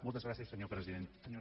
moltes gràcies senyora presidenta